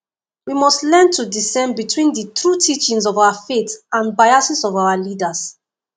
we must learn to discern between di true teachings of our faith and biases of our leaders